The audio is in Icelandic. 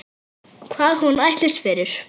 Hvað hún ætlist fyrir.